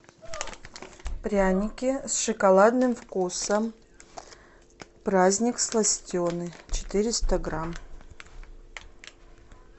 пряники с шоколадным вкусом праздник сластены четыреста грамм